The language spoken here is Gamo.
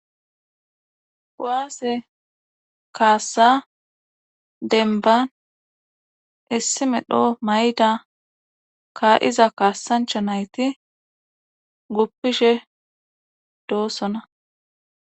Kuwaase e kaassa denban issi medho mayda ka7iza kaassancha nayti guppishe doossona